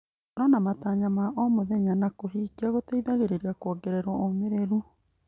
Gũkorwo na matanya ma o mũthenya na kũmahingia gũteithagia kuongerera ũmĩrĩru.